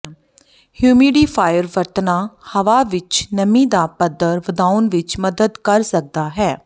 humidifier ਵਰਤਣਾ ਹਵਾ ਵਿੱਚ ਨਮੀ ਦਾ ਪੱਧਰ ਵਧਾਉਣ ਵਿੱਚ ਮਦਦ ਕਰ ਸਕਦਾ ਹੈ